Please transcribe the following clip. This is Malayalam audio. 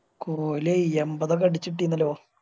കോഹ്ലി എമ്പതൊക്കെ അടിച്ച് ഇട്ടിന്നല്ലോ